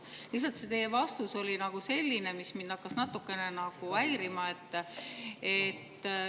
… aga see teie vastus oli lihtsalt selline, mis hakkas mind natukene häirima.